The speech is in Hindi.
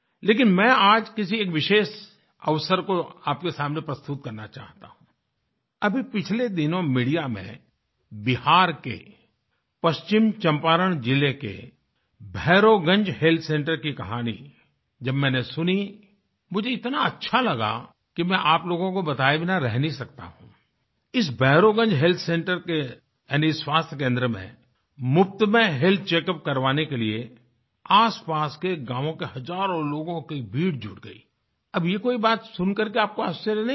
लेकिन मैं आज किसी एक विशेष अवसर को आपके सामने प्रस्तुत करना चाहता हूँ आई अभी पिछले दिनों मीडिया में बिहार के पश्चिम चम्पारण जिले के भैरवगंज हेल्थ सेंटर की कहानी जब मैंने सुनी मुझे इतना अच्छा लगा कि मैं आप लोगों को बताये बिना रह नहीं सकता हूँ आई इस भैरवगंज हेल्थसेंटर के यानि स्वास्थ्य केंद्र में मुफ्त में हेल्थ चेक यूपी करवाने के लिए आसपास के गांवों के हजारों लोगों की भीड़ जुट गई आई अब ये कोई बात सुन करके आपको आश्चर्य नहीं होगा